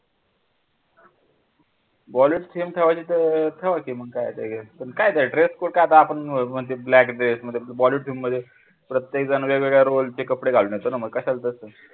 bollywood theme ठेवायची तर ठेवा की मग काय त्याच्यात पण काय ते dress code काय आपण ते black dress मध्ये bollywood theme मध्ये प्रत्येक जण वेगवेगळ्या role चे कपडे घालून येतो ना मग कशाला तस?